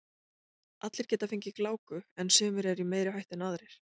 allir geta fengið gláku en sumir eru í meiri hættu en aðrir